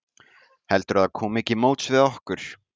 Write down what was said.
Heldurðu að það komi ekki móts við ykkur?